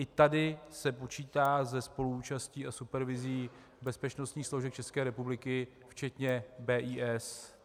I tady se počítá se spoluúčastí a supervizí bezpečnostních složek České republiky, včetně BIS.